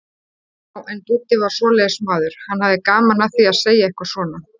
Já, en Dúddi var svoleiðis maður, hann hafði gaman af því að segja eitthvað svona.